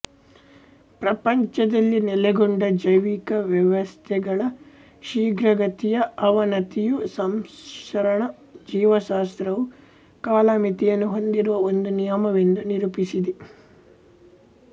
ಪ್ರಪಂಚದಲ್ಲಿ ನೆಲೆಗೊಂಡ ಜೈವಿಕ ವ್ಯವಸ್ಥೆಗಳ ಶೀಘ್ರಗತಿಯ ಅವನತಿಯು ಸಂರಕ್ಷಣಾ ಜೀವಶಾಸ್ತ್ರವು ಕಾಲಮಿತಿಯನ್ನು ಹೊಂದಿರುವ ಒಂದು ನಿಯಮವೆಂದು ನಿರೂಪಿಸಿದೆ